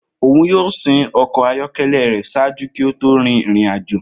Oun yoo sin ọkọ ayọkẹlẹ rẹ ṣaaju ki o to rin irin-ajo.